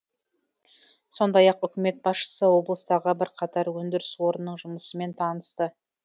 сондай ақ үкімет басшысы облыстағы бірқатар өндіріс орнының жұмысымен танысты